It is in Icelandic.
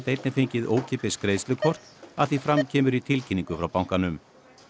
einnig fengið ókeypis greiðslukort að því fram kemur í tilkynningu frá bankanum